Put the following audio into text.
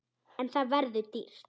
En það verður dýrt.